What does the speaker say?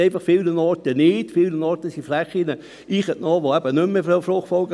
Sie haben dieser Planungserklärung zugestimmt mit 142 Ja- bei 0 Nein-Stimmen und 1 Enthaltung.